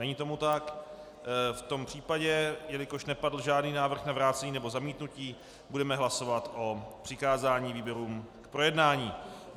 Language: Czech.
Není tomu tak, v tom případě, jelikož nepadl žádný návrh na vrácení nebo zamítnutí, budeme hlasovat o přikázání výborům k projednání.